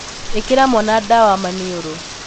Īkīra mwana ndawa maniūrū